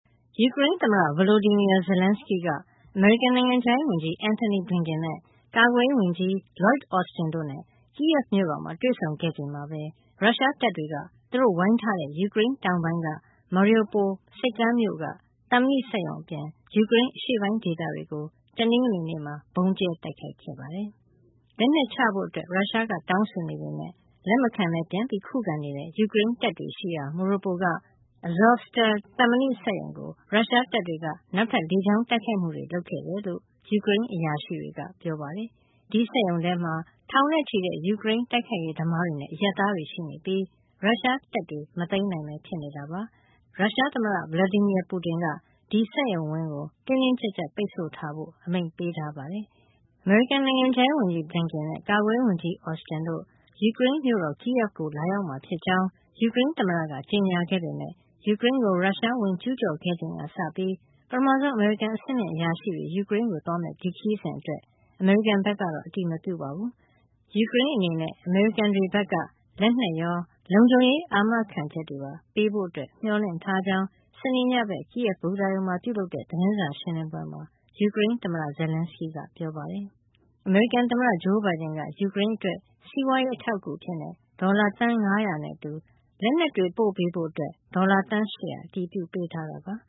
ယူကရိန်းသမ္မတ Volodymyr Zelenskyy က အမေရိကန် နိုင်ငံခြားရေးဝန်ကြီး Antony Blinken၊ ကာကွယ်ရေးဝန်ကြီး Lloyd Austin တို့နဲ့ kyiv မြို့တော်မှာ တွေ့ဆုံခဲ့ချိန်မှာပဲ ရုရှားတပ်တွေက သူတို့ဝိုင်းထားတဲ့ ယူကရိန်းတောင်ပိုင်းက Mariupol ဆိပ်ကမ်းမြို့က သံမဏိစက်ရုံအပြင် ယူကရိန်းအရှေ့ပိုင်း ဒေသတွေကို တနင်္ဂနွေနေ့မှာ ဗုံးကြဲတိုက်ခိုက်ခဲ့ပါတယ်။ လက်နက်ချဖို့ ရုရှားက တောင်းဆိုနေပေမဲ့ လက်မခံဘဲ ပြန်လည်ခုခံနေတဲ့ ယူကရိန်းတပ်တွေရှိရာ Mariupol က Azovstal သံမဏိစက်ရုံကို ရုရှားတပ်တွေက နောက်ထပ် လေကြောင်းတိုက်ခိုက်မှုတွေ လုပ်ခဲ့တယ်လို့ ယူကရိန်းအရာရှိတွေက ပြောပါတယ်။ ဒီစက်ရုံထဲမှာ ထောင်နဲ့ချီတဲ့ ယူကရိန်း တိုက်ခိုက်ရေးသမားတွေနဲ့ အရပ်သားတွေ ရှိနေပြီး ရုရှားတပ်တွေ မသိမ်းနိုင်ဘဲ ဖြစ်နေတာပါ။ ရုရှားသမ္မတ Vladimir Putin က ဒီစက်ရုံဝင်းကို တင်းတင်းကျပ်ကျပ် ပိတ်ဆို့ထားဖို့ အမိန့်ပေးထားပါတယ်။ အမေရိကန် နိုင်ငံခြားရေးဝန်ကြီး Blinken နဲ့ ကာကွယ်ရေးဝန်ကြီး Austin တို့ ယူကရိန်းမြို့တော် Kyiv ကို လာရောက်မှာဖြစ်ကြောင်း ယူကရိန်းသမ္မတက ကြေညာခဲ့ပေမဲ့ ယူကရိန်းကို ရုရှား ဝင်ကျူးကျော်ခဲ့ချိန်ကစပြီး ပထမဆုံး အမေရိကန် အဆင့်မြင့်အရာရှိတွေ ယူကရိန်းကိုသွားမယ့် ဒီခရီးစဉ်အတွက် အမေရိကန်ဘက်ကတော့ အတည်မပြုပါဘူး။ ယူကရိန်းအနေနဲ့ အမေရိကန်တွေဘက်က လက်နက်ရော၊ လုံခြုံရေး အာမခံချက်တွေပါ ပေးဖို့ မျှော်လင့်ထားကြောင်း စနေနေ့ညဘက် Kyiv ဘူတာရုံမှာ ပြုလုပ်တဲ့ သတင်းစာရှင်းလင်းပွဲမှာ ယူကရိန်းသမ္မတ Zelenskyy က ပြောပါတယ်။ အမေရိကန်သမ္မတ Joe Biden က ယူကရိန်းအတွက် စီးပွားရေး အထောက်အကူအဖြစ် ဒေါ်လာ သန်း ၅၀၀ နဲ့အတူ လက်နက်တွေ ပို့ပေးဖို့အတွက် ဒေါ်လာ သန်း ၈၀၀ အတည်ပြုပေးထားတာပါ။